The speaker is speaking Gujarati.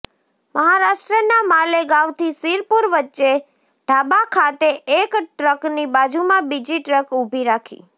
મહારાષ્ટ્રના માલેગાંવથી શીરપુર વચ્ચે ઢાબા ખાતે એક ટ્રકની બાજુમાં બીજી ટ્રક ઊભી રાખી